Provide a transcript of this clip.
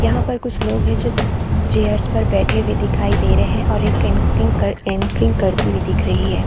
यहाँ पर कुछ लोग है जो चेयर्स पर बैठे हुए दिखाई दे रहै हैं और एक एंकरिंग - एंकरिंग करती हुई दिख रही है।